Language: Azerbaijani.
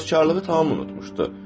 Təvəkküllüyü tam unutmuşdu.